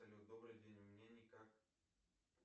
салют добрый день мне никак